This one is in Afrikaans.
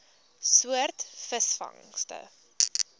soort visvangste